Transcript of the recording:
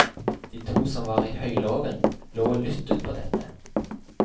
De to som var i høylåven, lå og lydde på dette.